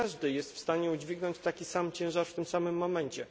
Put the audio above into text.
Nie każde jest w stanie udźwignąć taki sam ciężar w tym samym momencie.